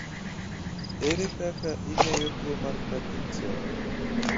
ere kaka ing'eyo tuo mar pakinson?